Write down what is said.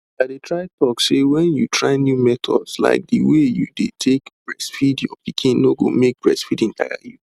i dey try talk say when you try new methods like the way you dey take breastfeed your pikin no go make breastfeeding tire you